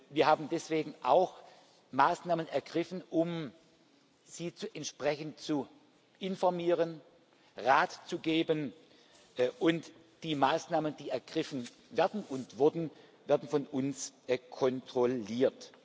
Wir haben deswegen auch Maßnahmen ergriffen, um Sie entsprechend zu informieren, Rat zu geben, und die Maßnahmen, die ergriffen werden und wurden, werden von uns kontrolliert.